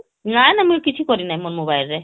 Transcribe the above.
ନା ନା ମୁଇଁ କିଛି କରିନି ମୋ mobile ରେ